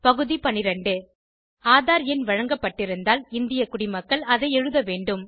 பகுதி 12 ஆதார் எண் வழங்கப்பட்டிருந்தால் இந்திய குடிமக்கள் அதை எழுத வேண்டும்